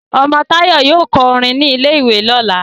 omo Tayo yóò kọ orin ní ilè ìwé lọla